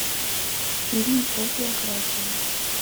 фильмы по биографии